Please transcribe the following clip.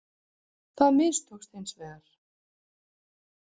Það mistókst hins vegar.